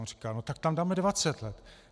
On říká: no tak tam dáme dvacet let.